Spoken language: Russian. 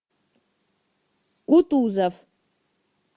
кутузов